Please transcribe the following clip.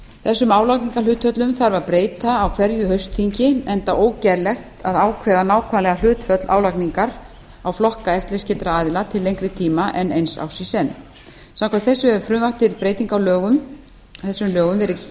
þessum álagningarhlutföllum þarf að breyta á hverju haustþingi enda ógerlegt að ákveða nákvæmlega hlutföll álagningar á flokka eftirlitsskyldra aðila til lengri tíma en eins árs í senn samkvæmt þessu hefur frumvarp til breytinga á þess lögum verið